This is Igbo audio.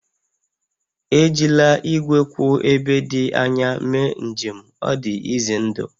Ejila igwe kwụ ebe dị anya mee njem, ọ dị ize ndụ